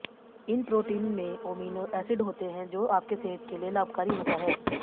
इन protein में amino acid होते हैं जो आपके सेहत के लिए लाभकारी होता है